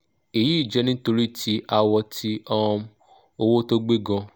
eyi je nitori ti awo ti um owo to gbe gan